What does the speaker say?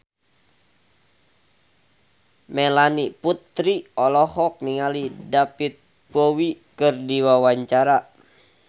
Melanie Putri olohok ningali David Bowie keur diwawancara